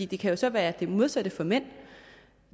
det kan jo så være det modsatte for mænd